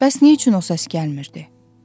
Bəs nə üçün o səs gəlmirdi?